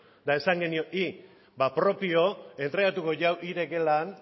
eta esan genion hi ba propio entregatuko hik daukala